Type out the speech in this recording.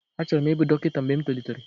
Achọrọ m ịbụ dọkịta mgbe m tolitere